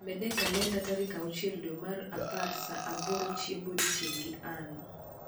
med e kalenda tarik achiel dwe mar apar saa aboro chiemb odiechieng gi ann